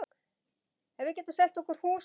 Ef við getum selt okkar hús á